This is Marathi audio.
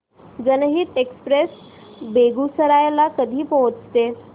जनहित एक्सप्रेस बेगूसराई ला कधी पोहचते